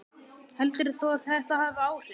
Heldur þú að þetta hafi áhrif?